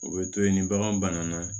U bɛ to yen ni bagan bana na